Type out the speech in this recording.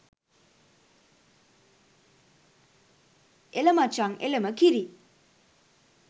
එල මචං එලම කිරි